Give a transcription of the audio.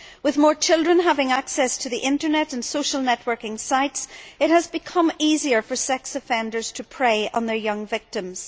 With more children having access to the Internet and social networking sites, it has become easier for sex offenders to prey on their young victims.